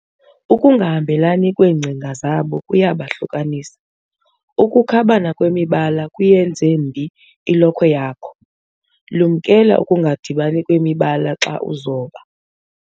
Ukungahambelani kweengcinga zabo kuyabahlukanisa. ukukhabana kwemibala kuyenze mbi ilokhwe yakho, lumkela ukungadibani kwemibala xa uzoba